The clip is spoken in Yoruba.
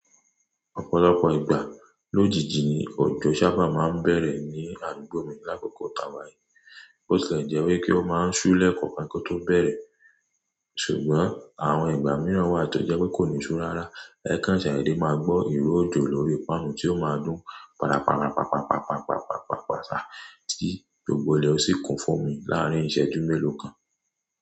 Ọ̀pọ̀lọpọ̀ ìgbà lójijì ni òjò sábà máa ń bẹ̀rẹ̀ ní àdúgbò mi lákòókò tàwà yii. Bó tilẹ̀ jẹ́ wípé ó máa ń ṣú lẹ́ẹ̀kọ̀ọ́ kan kí ó tó bẹ̀rẹ̀, ṣùgbọ́n àwọn ìgbà mìíràn wà tó jẹ́ pé kò ní sú rárá. Ẹ ká n ṣadedé máa gbọ́ ìró òjò lórí ìpànu tí ó máa dún padàpàdà, pàpàpàpàpàpàpàpà tí gbogbo ilẹ̀ ó sì kún fún omi láàárín ìṣẹ́jú mélòó kan.